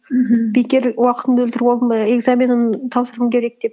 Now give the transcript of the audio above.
мхм бекер уақытымды өлтіріп алдым ба экзаменім тапсыруым керек деп